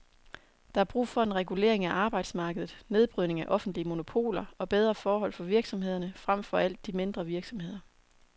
Der er brug for en regulering af arbejdsmarkedet, nedbrydning af offentlige monopoler og bedre forhold for virksomhederne, frem for alt de mindre virksomheder.